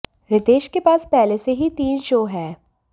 रीतेश के पास पहले से ही तीन शो हैं